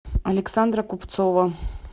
александра купцова